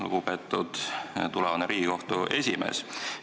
Lugupeetud tulevane Riigikohtu esimees!